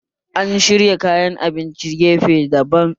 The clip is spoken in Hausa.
An shirya kayan abinci gefe daban